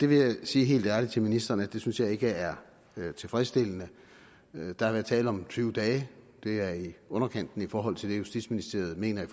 vil sige helt ærligt til ministeren at det synes jeg ikke er tilfredsstillende der har været tale om tyve dage det er i underkanten i forhold til det justitsministeriet mener